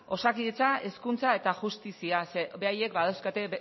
osakidetza hezkuntza eta justizia ze beraiek badauzkate